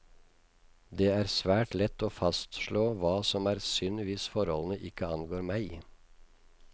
Det er svært lett å fastslå hva som er synd hvis forholdene ikke angår meg.